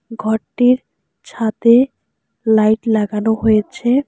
ঘরটির ছাদে লাইট লাগানো হয়েছে।